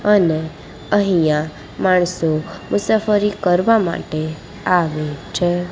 અને અહીંયા માણસો મુસાફરી કરવા માટે આવે છે.